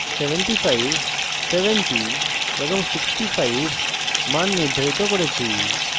65 70 এবং 65 মান নির্ধারিত করেছি